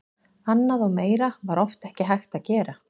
Annað og meira var oft ekki hægt að gera.